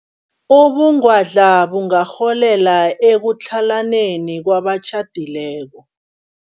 Ubungwadla bungarholela ekutlhalaneni kwabatjhadileko.